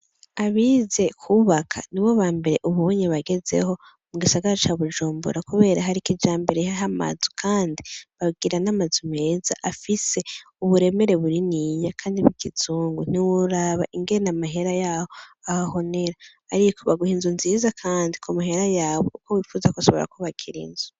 Abize kwubaka nibo bambere ubunye bagezweho mu gisagara ca bujumbura kubera hari ikijambere ryamazu kandi bagira n'amazu meza afise uburemere buniniya kandi mukizungu ntiworaba ingene amahera yaho ahahonera ariko baguha inzu nziza kandi kumahera yawe uko wipfuza kose barakubakira inzu.